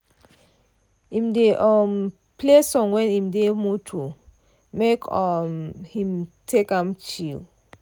im dey um play song when im dey moto make um him take am chill.